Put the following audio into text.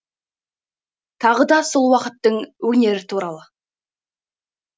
тағыда сол уақыттың өнері туралы